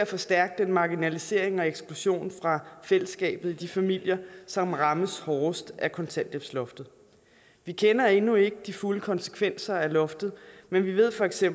forstærke marginaliseringen og eksklusionen fra fællesskabet i de familier som rammes hårdest af kontanthjælpsloftet vi kender endnu ikke de fulde konsekvenser af loftet men vi ved feks at